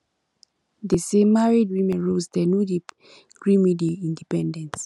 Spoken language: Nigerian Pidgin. dese married woman roles dem no dey gree me dey independent